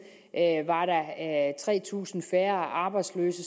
var tre tusind færre arbejdsløse